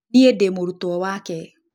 Niĩ ndĩ mũrutwo wake.